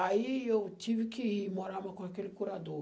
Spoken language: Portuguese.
Aí eu tive que ir morar com aquele curador.